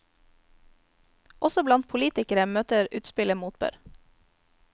Også blant politikere møter utspillet motbør.